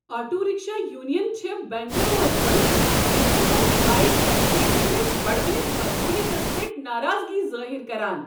Auto rickshaw یونینہٕ چھےٚ بنگلوٗروٗہس منٛز لکن منٛز بایک ٹیکسین ہنٛدِس بڑوٕنِس مقبولیتس پیٹھ ناراضگی ظٲہر کران۔